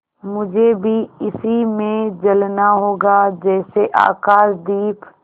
मुझे भी इसी में जलना होगा जैसे आकाशदीप